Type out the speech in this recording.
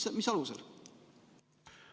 Mis alusel?